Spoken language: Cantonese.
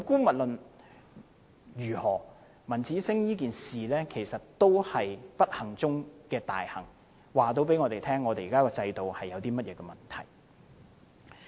無論如何，文子星事件是不幸中的大幸，告訴我們現在的制度有甚麼問題。